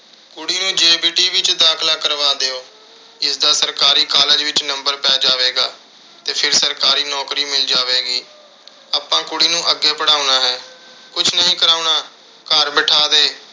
ਕੁੜੀ ਨੂੰ JBT ਵਿੱਚ ਦਾਖਲਾ ਕਰਵਾ ਦਿਓ। ਇਸਦਾ ਸਰਕਾਰੀ college ਵਿੱਚ number ਪੈ ਜਾਵੇਗਾ ਤੇ ਫਿਰ ਸਰਕਾਰੀ ਨੌਕਰੀ ਮਿਲ ਜਾਵੇਗੀ। ਆਪਾਂ ਕੁੜੀ ਨੂੰ ਅੱਗੇ ਪੜ੍ਹਾਉਣਾ ਹੈ। ਕੁਸ਼ ਨਹੀਂ ਕਰਾਉਣਾ। ਘਰ ਬਿਠਾ ਦੇ।